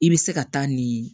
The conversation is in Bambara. I bɛ se ka taa nin